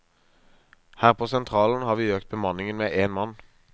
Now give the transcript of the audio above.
Her på sentralen har vi økt bemanningen med én mann.